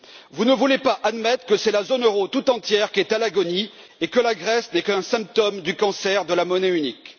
Vous ne voulez pas admettre que c'est la zone euro tout entière qui est à l'agonie et que la Grèce n'est qu'un symptôme du cancer de la monnaie unique.